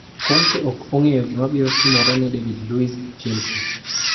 Conte ok ong'eyo gimabiro timore ne David Luiz Chelsea